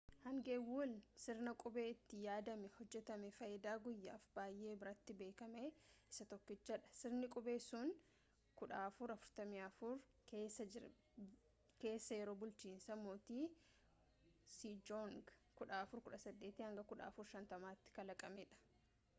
hangewul sirna qubee itti yaadamee hojjetamee faayidaa guyyaaf baayyee biratti beekame isa tokkichadha. sirni qubee sun 1444 keessa yeroo bulchiinsa mootii sejoong 1418-1450’tti kalaqame